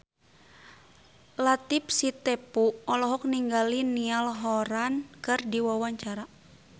Latief Sitepu olohok ningali Niall Horran keur diwawancara